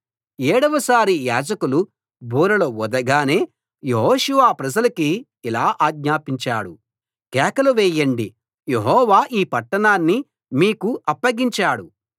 ఏడవసారి యాజకులు బూరలు ఊదగానే యెహోషువ ప్రజలకి ఇలా ఆజ్ఞాపించాడు కేకలు వేయండి యెహోవా ఈ పట్టణాన్ని మీకు అప్పగించాడు